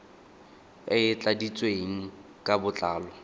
e e tladitsweng ka botlalo